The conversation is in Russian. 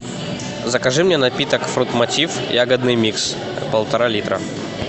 закажи мне напиток фрутмотив ягодный микс полтора литра